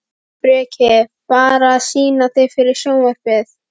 Breki: Bara að sýna þig fyrir sjónvarpið?